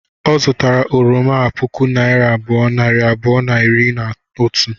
Ọ zụtara oroma a puku naira abụọ, nari abụọ na iri na otu